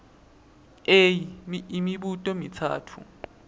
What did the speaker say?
a imibuto mitsatfu